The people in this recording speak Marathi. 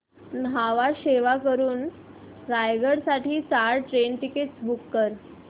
न्हावा शेवा वरून रायगड साठी चार ट्रेन टिकीट्स बुक कर